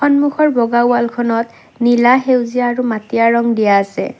সন্মুখৰ বগা ৱালখনত নীলা সেউজীয়া আৰু মাটীয়া ৰং দিয়া আছে।